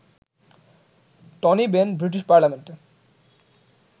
Tony Benn British পার্লামেন্টে